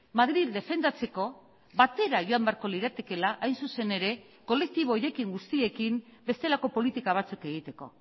madril defendatzeko batera joan beharko liratekeela hain zuzen ere kolektibo horiekin guztiekin bestelako politika batzuk egiteko